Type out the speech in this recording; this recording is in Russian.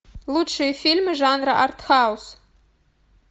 лучшие фильмы жанра артхаус